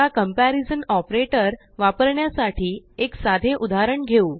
आताcomparison operatorवापरण्यासाठी एक साधेउदाहरण घेऊ